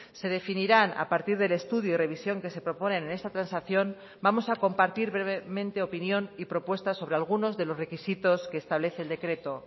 se definirán a partir del estudio y revisión que se proponen en esta transacción vamos a compartir brevemente opinión y propuestas sobre algunos de los requisitos que establece el decreto